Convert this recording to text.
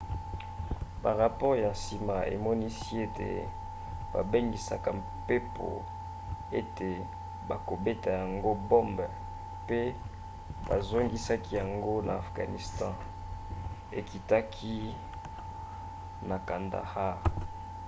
barapore ya nsima emonisi ete babangisaka mpepo ete bakobeta yango bombe mpe bazongisaki yango na afghanistan ekitaki na kandahar